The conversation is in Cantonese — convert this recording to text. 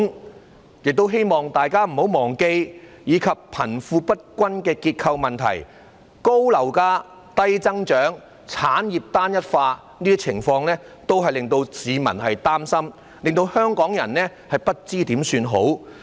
我亦希望大家不要忘記，貧富不均的結構問題，高樓價、低增長、產業結構單一化等情況也令市民擔心，令香港人不知如何是好。